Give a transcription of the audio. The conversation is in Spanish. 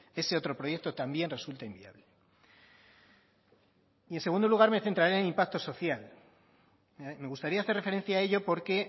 ese otro proyecto también resulta inviable y en segundo lugar me centraré en impacto social me gustaría hacer referencia a ello porque